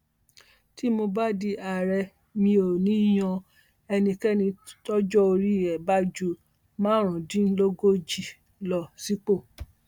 tí mo bá di àárẹ mi ò ní í yan ẹnikẹni tọjọ orí ẹ bá ju márùndínlógójì lọ sípò